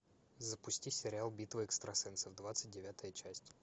запусти сериал битва экстрасенсов двадцать девятая часть